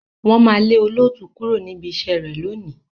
Wọ́n máa lé olóòtú kúrò níbi iṣẹ́ rẹ̀ lónìí.